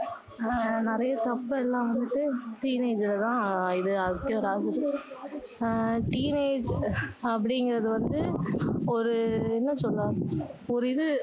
ஆஹ் நிறைய தப்பு எல்லாம் வந்து teenage ல தான் ஆஹ் இது தான் அது ஆகுது teenage அப்படிங்கிறது வந்து ஒரு என்ன சொல்ல ஒரு இது